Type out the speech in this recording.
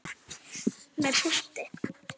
Með punkti.